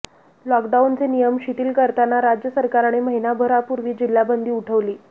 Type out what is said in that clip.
लॉकडाउनचे नियम शिथिल करताना राज्य सरकाने महिनाभरापूर्वी जिल्हाबंदी उठवली